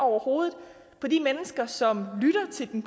over hovedet på de mennesker som lytter til den